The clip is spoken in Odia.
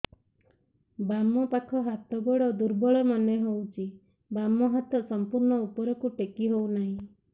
ବାମ ପାଖ ହାତ ଗୋଡ ଦୁର୍ବଳ ମନେ ହଉଛି ବାମ ହାତ ସମ୍ପୂର୍ଣ ଉପରକୁ ଟେକି ହଉ ନାହିଁ